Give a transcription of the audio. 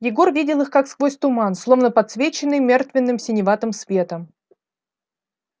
егор видел их как сквозь туман словно подсвеченный мертвенным синеватым светом